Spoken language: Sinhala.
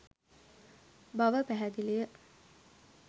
බව පැහැදිලිය